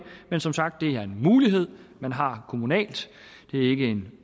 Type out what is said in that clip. er som sagt en mulighed man har kommunalt det er ikke en